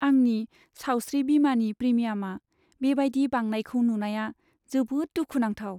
आंनि सावस्रि बीमानि प्रिमियामा बेबायदि बांनायखौ नुनाया जोबोद दुखु नांथाव।